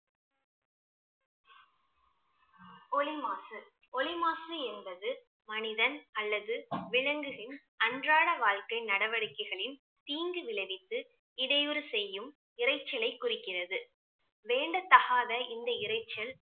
ஒலி மாசு ஒலி மாசு என்பது மனிதன் அல்லது விலங்குகளின் அன்றாட வாழ்க்கை நடவடிக்கைகளின் தீங்கு விளைவித்து இடையூறு செய்யும் இரைச்சலை குறிக்கிறது வேண்டத்தகாத இந்த இரைச்சல்